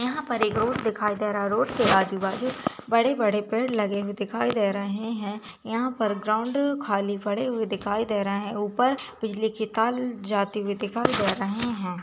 यहाँ पर एक रोड दिखायी दे रहा है रोड के आजू बाजू बड़े- बड़े पेड़ लगे हुए दिखायी दे रहे हैं यहाँ पर ग्राउंड खाली पड़े हुए दिखायी दे रहे हैं ऊपर बिजली की तार जाती हुई दिखाई दे रहे हैं।